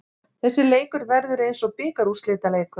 Þessi leikur verður eins og bikarúrslitaleikur.